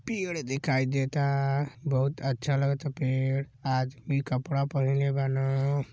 पेड़ देखाई देता। बहुत अच्छा लागता पेड़। आदमी कपड़ा पहिनले बान।